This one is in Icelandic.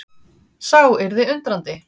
Sá yrði undrandi.